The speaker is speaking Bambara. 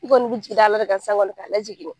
I kɔni b'i jigi da ala de kan sisan kɔni ka lajigin dɛ!